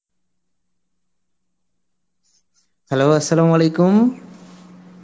hello Arbi